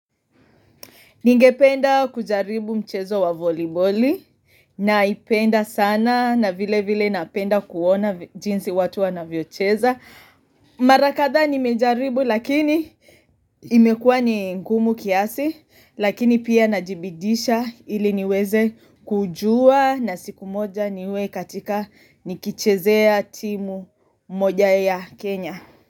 Ningependa kujaribu mchezo wa voliboli naipenda sana na vilevile napenda kuona jinsi watu wanavyocheza. Mara kadhaa nimejaribu lakini imekua ni ngumu kiasi lakini pia najibidisha ili niweze kujua na siku moja niwe katika nikichezea timu moja ya Kenya.